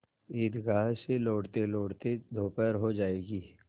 ईदगाह से लौटतेलौटते दोपहर हो जाएगी